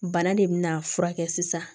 Bana de bɛna furakɛ sisan